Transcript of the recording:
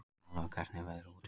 Alva, hvernig er veðrið úti?